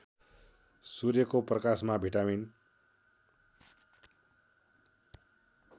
सूर्यको प्रकाशमा भिटामिन